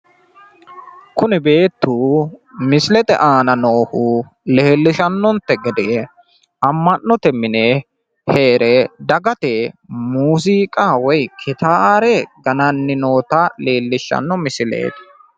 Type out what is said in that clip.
kuni beetu misilete aana noohu leellishannonte gede ama'note mine heere dagate muuziiqa woyi gitaare gananni noota leellishshanno misileeti.